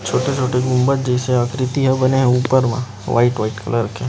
छोटी-छोटी गुम्बद जैसी आकृति बने हे ऊपर म वाइट कलर के